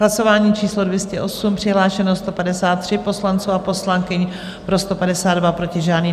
Hlasování číslo 208, přihlášeno 153 poslanců a poslankyň, pro 152, proti žádný.